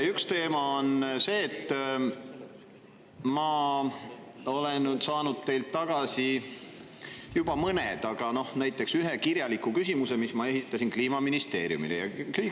Üks teema on see, et ma olen saanud teilt tagasi juba mõned, näiteks selle, mille ma olin esitanud Kliimaministeeriumile.